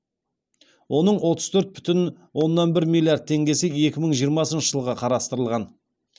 оның отыз төрт бүтін оннан бір миллиард теңгесі екі мың жиырмасыншы жылға қарастырылған